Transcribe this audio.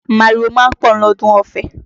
Màrìwò ma ń pọ̀ lọ́dún Ọfẹ